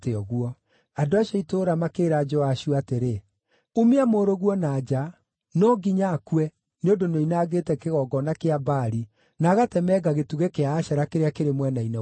Andũ acio a itũũra makĩĩra Joashu atĩrĩ, “Umia mũrũguo na nja. No nginya akue, nĩ ũndũ nĩoinangĩte kĩgongona kĩa Baali na agatemenga gĩtugĩ kĩa Ashera kĩrĩa kĩrĩ mwena-inĩ wakĩo.”